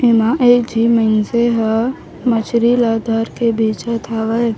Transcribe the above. एमा एक झी मइनसे ह मछरी ला धर के बेचत हवय।